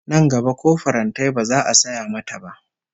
Nan gaba ko farantai ba za a saya mata ba